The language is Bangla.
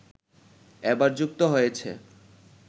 এবার যুক্ত হয়েছে